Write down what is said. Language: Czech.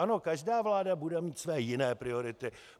Ano, každá vláda bude mít své jiné priority.